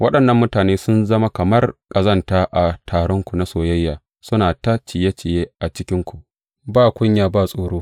Waɗannan mutane sun zama kamar ƙazanta a taronku na soyayya, suna ta ciye ciye a cikinku, ba kunya ba tsoro.